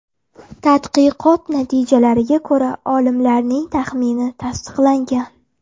Tadqiqot natijalariga ko‘ra, olimlarning taxmini tasdiqlangan.